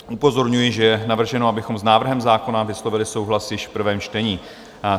Upozorňuji, že je navrženo, abychom s návrhem zákona vyslovili souhlas již v prvém čtení.